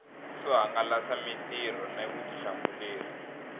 swo hangalasa mitirho na vutihlamuleri